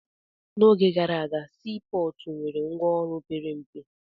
N'oge gara aga, sii pọọtụ nwere ngwaọrụ pere mpe.